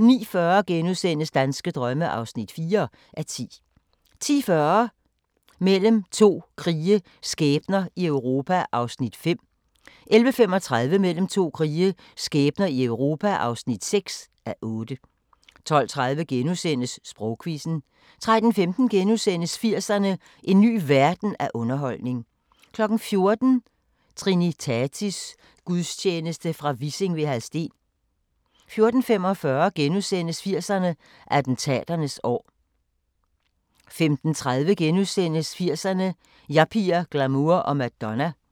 09:40: Danske drømme (4:10)* 10:40: Mellem to krige – skæbner i Europa (5:8) 11:35: Mellem to krige – skæbner i Europa (6:8) 12:30: Sprogquizzen * 13:15: 80'erne: En ny verden af underholdning * 14:00: Trinitatis gudstjeneste fra Vissing ved Hadsten 14:45: 80'erne: Attentaternes år * 15:30: 80'erne: Yuppier, glamour og Madonna *